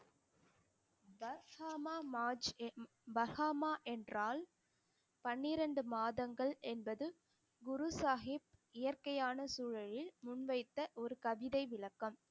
வர்க்காமா மாஜ் என்~ வஹாக்கமா என்றால் பன்னிரண்டு மாதங்கள் என்பது குரு சாகிப் இயற்கையான சூழலில் முன்வைத்த ஒரு கவிதை விளக்கம்